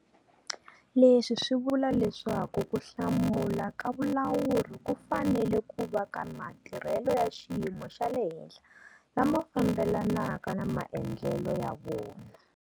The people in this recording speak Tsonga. Leswi swi vula leswaku ku hlamula ka vulawuri ku fanele ku va ka matirhelo ya xiyimo xa le henhla lama fambelanaka na maendlelo ya vona.